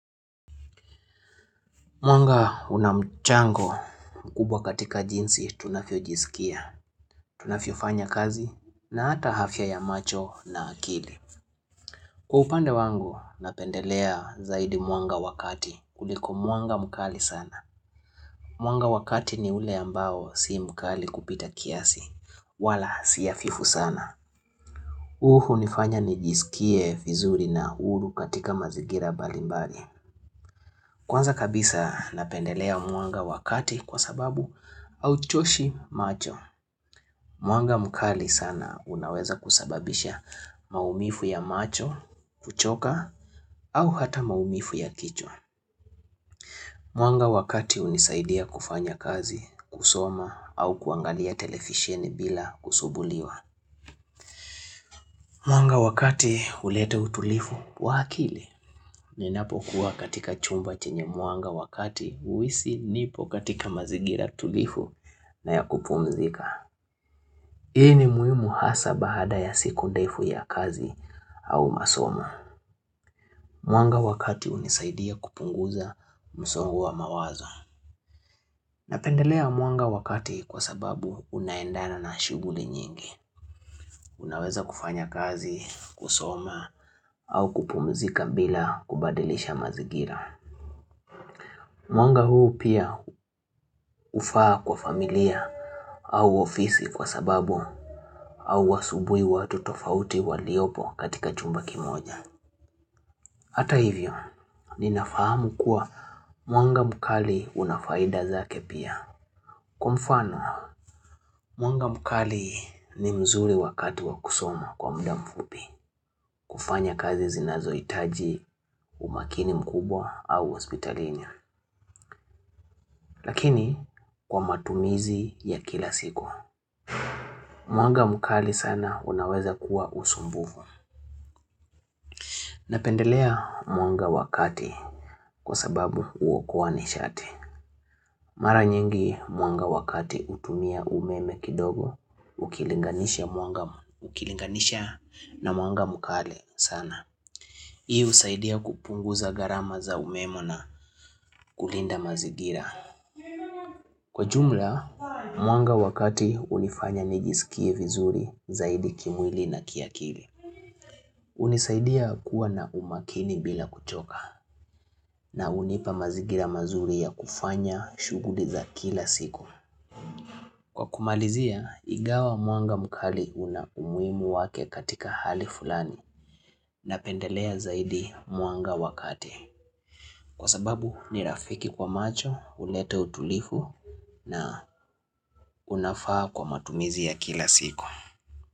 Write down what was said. Mwanga unamchango mkubwa katika jinsi tunafio jisikia, tunafio fanya kazi na hata hafya ya macho na akili. Kwaupande wangu napendelea zaidi mwanga wakati kuliko mwanga mkali sana. Mwanga wakati ni ule ambao si mkali kupita kiasi, wala si afifu sana. Uhu unifanya nijisikie fizuri na huru katika mazigira bali mbali. Kwanza kabisa napendelea mwanga wakati kwa sababu au choshi macho Mwanga mkali sana unaweza kusababisha maumifu ya macho, kuchoka au hata maumifu ya kichwa Mwanga wakati unisaidia kufanya kazi, kusoma au kuangalia telefisheni bila kusubuliwa Mwanga wakati ulete utulifu waakili Ninapo kuwa katika chumba chenye muanga wakati huisi nipo katika mazigira tulifu na ya kupumzika. Hii ni muhimu hasa bahada ya siku ndefu ya kazi au masoma. Mwanga wakati unisaidia kupunguza msongo wa mawazo. Napendelea mwanga wakati kwa sababu unaendana na shuguli nyingi. Unaweza kufanya kazi, kusoma au kupumzika bila kubadilisha mazigira. Mwanga huu pia ufaa kwa familia au ofisi kwa sababu au wasubui watu tofauti waliopo katika chumba kimoja. Hata hivyo, ninafahamu kuwa mwanga mkali unafaida zake pia. Kwa mfano, mwanga mkali ni mzuri wakati wakusoma kwa mda mfupi. Kufanya kazi zinazo itaji umakini mkubwa au hospitalinia. Lakini kwa matumizi ya kila siku. Mwanga mkali sana unaweza kuwa usumbufu. Napendelea mwanga wakati kwa sababu uokoanishati. Maranyingi mwanga wakati utumia umeme kidogo ukilinganisha na mwanga mkali sana. Hii usaidia kupunguza garama za umemo na kulinda mazigira. Kwa jumla, mwanga wakati unifanya nijisikie vizuri zaidi kimwili na kiakili. Unisaidia kuwa na umakini bila kuchoka na unipa mazigira mazuri ya kufanya shuguli za kila siku. Kwa kumalizia igawa mwanga mkali una umuimu wake katika hali fulani na pendelea zaidi mwanga wakati. Kwa sababu ni rafiki kwa macho, uleta utulifu na unafaa kwa matumizi ya kila siku.